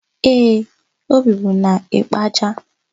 Ee, o bibu n'Ịkpaja.